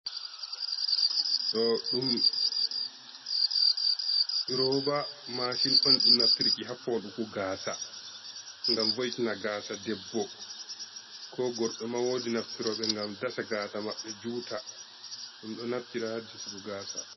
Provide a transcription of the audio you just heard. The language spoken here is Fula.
Ɗo ɗum roba mashin on. Ɗum naftirki ha foɗuku gasa. Ngam voitina gasa ɗeɓɓo, ko gorɓe ma woɗi naftiro ngam ɗasa gasa maɓɓe juuta. Ɗum ɗo naftira ha jisuɓu gasa.